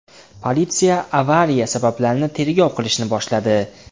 Politsiya avariya sabablarini tergov qilishni boshladi.